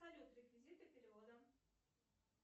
салют реквизиты перевода